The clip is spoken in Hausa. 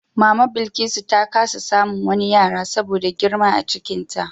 Mama Bilkisu ta kasa samun wani yara saboda girma a cikinta.